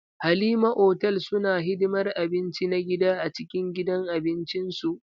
Halima hotel suna hidimar abinci na gida a cikin gidan abincin su.